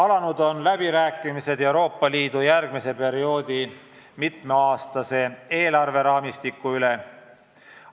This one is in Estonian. Alanud on läbirääkimised Euroopa Liidu järgmise eelarveperioodi mitmeaastase raamistiku üle.